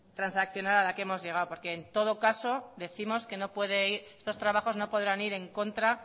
transaccional a la que hemos llegado porque en todo caso décimos que estos trabajos no podrán ir en contra